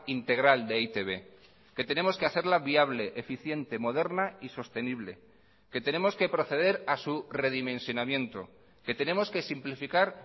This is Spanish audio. integral de e i te be que tenemos que hacerla viable eficiente moderna y sostenible que tenemos que proceder a su redimensionamiento que tenemos que simplificar